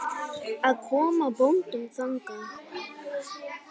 að koma boðum þangað.